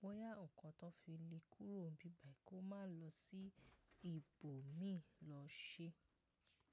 bóyá nǹkan tó fi le kúrò ń bí báyìí kó máa lọ sí ibòmíì lọ ṣe.